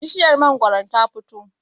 bishiyar mangoron ta fito?